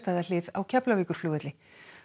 á Keflavíkurflugvelli